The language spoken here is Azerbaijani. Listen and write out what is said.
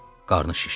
Qarnı şişdi.